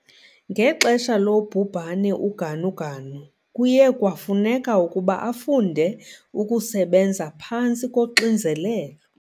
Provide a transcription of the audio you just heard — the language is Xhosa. Ngexesha lobhubhane uGanuganu kuye kwafuneka ukuba afunde ukusebenza phantsi koxinzelelo.